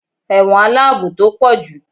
ẹwọ́n alabò to pojú